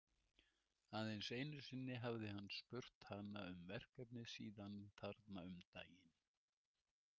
Aðeins einu sinni hafði hann spurt hana um verkefnið síðan þarna um daginn.